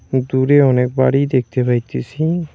দূরে অনেক বাড়ি দেখতে পাইতেছি।